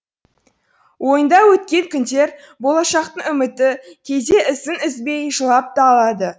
ойында өткен күндер болашақтың үміті кейде ісін үзбей жылап та алады